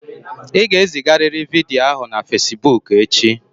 Ị ga-ezigarịrị vidiyo ahụ na Fesiboku echi!